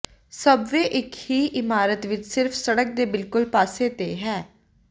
subway ਇੱਕ ਹੀ ਇਮਾਰਤ ਵਿੱਚ ਸਿਰਫ ਸੜਕ ਦੇ ਬਿਲਕੁਲ ਪਾਸੇ ਤੇ ਹੈ